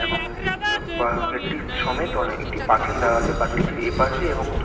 এবং ব পাহাড়ের একটি সমেত অনেক একটি পাঁচিল দেয়া আছে | পাচিলটির এপাশে এবং-দু-